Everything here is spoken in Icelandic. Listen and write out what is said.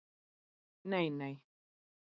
Nei, nei